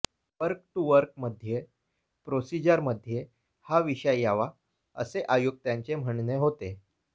work to work मध्ये प्रोसीजरमध्ये हा विषय यावा असे आयुक्तांचे म्हणणे होते